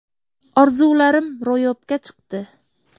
Orzularim ro‘yobga chiqdi.